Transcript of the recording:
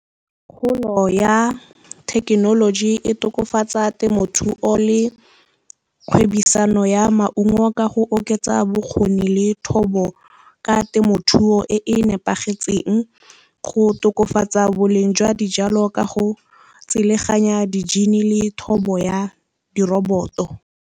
Kgolo ya thekenoloji e tokafatsa temothuo le kgwebisano ya maungo ka go oketsa bokgoni le thobo ka temothuo e e nepagetseng, go tokafatsa boleng jwa dijalo ka go tseleganya di-gene le thobo ya di-robot-o.